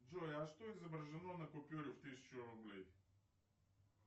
джой а что изображено на купюре в тысячу рублей